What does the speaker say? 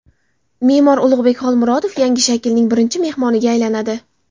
Me’mor Ulug‘bek Xolmurodov yangi shaklning birinchi mehmoniga aylanadi.